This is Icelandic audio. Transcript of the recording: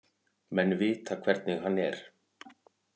Menn vita hvernig hann er.